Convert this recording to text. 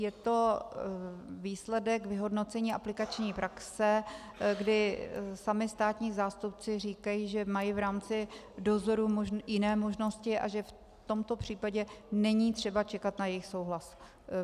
Je to výsledek vyhodnocení aplikační praxe, kdy sami státní zástupci říkají, že mají v rámci dozoru jiné možnosti a že v tomto případě není třeba čekat na jejich souhlas.